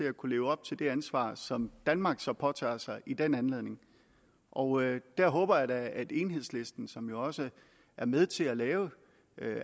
at kunne leve op til det ansvar som danmark så påtager sig i den anledning og der håber jeg da at enhedslisten som jo også er med til at lave